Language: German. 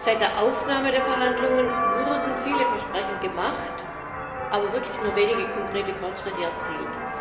Seit der Aufnahme der Verhandlungen wurden viele Versprechungen gemacht, aber wirklich nur wenige konkrete Fortschritte erzielt.